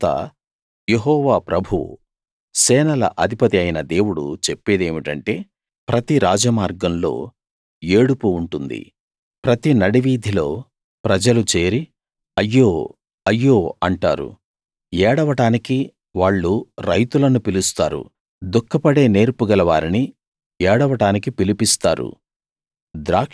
అందుచేత యెహోవా ప్రభువు సేనల అధిపతి అయిన దేవుడు చెప్పేదేమిటంటే ప్రతి రాజమార్గంలో ఏడుపు ఉంటుంది ప్రతి నడివీధిలో ప్రజలు చేరి అయ్యో అయ్యో అంటారు ఏడవడానికి వాళ్ళు రైతులను పిలుస్తారు దుఖపడే నేర్పు గలవారిని ఏడవడానికి పిలిపిస్తారు